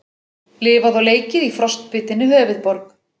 Lifað og leikið í frostbitinni höfuðborg